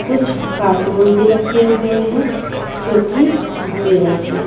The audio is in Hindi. कुछ कार्टून भी रखे हुए हैं जो की भूरे रंग के है।